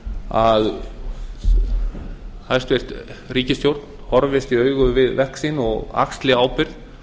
að hæstvirt ríkisstjórn horfist í augu við verk sín og axli ábyrgð